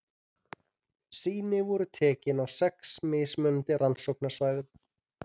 Sýni voru tekin á sex mismunandi rannsóknarsvæðum.